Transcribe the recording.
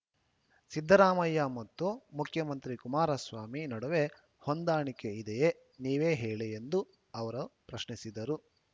ಸಿದ್ದರಾಮಯ್ಯ ಮತ್ತು ಮುಖ್ಯಮಂತ್ರಿ ಕುಮಾರಸ್ವಾಮಿ ನಡುವೆ ಹೊಂದಾಣಿಕೆ ಇದೆಯೇ ನೀವೇ ಹೇಳಿ ಎಂದು ಅವರು ಪ್ರಶ್ನಿಸಿದರು